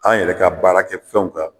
An yɛrɛ ka baara kɛ fɛnw kan